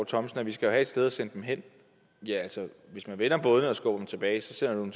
thomsen at vi skal have et sted at sende dem hen ja hvis man vender bådene og skubber dem tilbage sender man